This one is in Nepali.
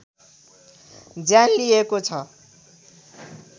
ज्यान लिएको छ